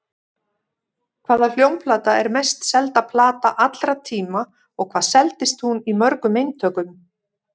Hvaða hljómplata er mest selda plata allra tíma og hvað seldist hún í mörgum eintökum?